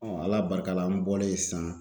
Ala barika la, n bɔlen sisan